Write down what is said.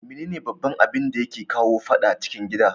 Mene ne baban abinda yake kawo fadan cikin gida?